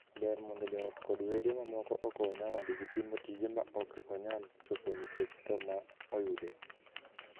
Ber mondo joot kod wede mamoko okony nyawadgi timo tije ma ok onyal chopo nikech thoo ma oyude.